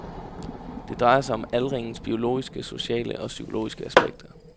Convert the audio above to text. Det drejer sig om aldringens biologiske, sociale og psykologiske aspekter.